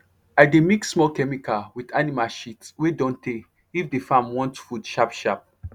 i dey mix small chemical with animal shit wey don tey if the farm want food sharp sharp